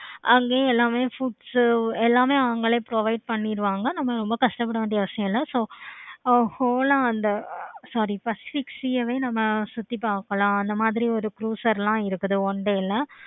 அங்கேயும் எல்லாமே foods எல்லாமே அவுங்களே எல்லாமே provide பண்ணிடுவாங்க. நம்ம ரொம்ப கஷ்டப்பட வேண்டிய அவசியம் இல்லை. so whole ஆஹ் அந்த sorry நம்ம சுத்தி பார்க்கலாம். அந்த மாதிரி எல்லாம் இருக்குது one day ல